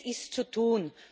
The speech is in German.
Vieles ist zu tun.